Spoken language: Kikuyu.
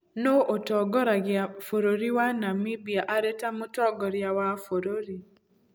Nũũ ũtongoragia bũrũri wa Namibia arĩ ta Mũtongoria wa bũrũri?